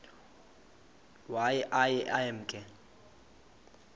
waye aye emke